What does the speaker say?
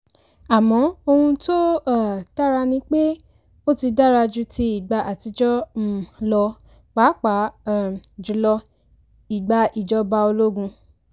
àmọ́ ohun tó um dára ni pé ó ti dára ju ti ìgbà àtijọ́ um lọ pàápàá um jù lọ ìgbà ìjọba ológun.